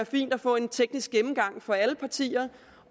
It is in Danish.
fint at få en teknisk gennemgang for alle partier